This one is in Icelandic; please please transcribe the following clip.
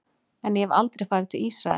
En ég hef aldrei farið til Ísraels.